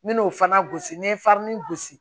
N bɛ n'o fana gosi ni n ye gosi